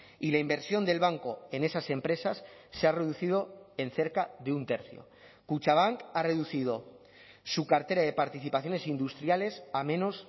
y la inversión del banco en esas empresas se ha reducido en cerca de un tercio kutxabank ha reducido su cartera de participaciones industriales a menos